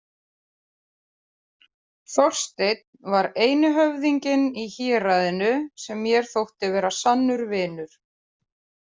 Þorsteinn var eini höfðinginn í héraðinu sem mér þótti vera sannur vinur.